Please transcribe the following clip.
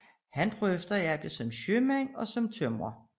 Han prøvede at arbejde som sømand og som tømrer